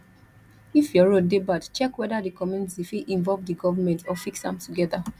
if your road de bad check whether di community fit involve di government or fix am together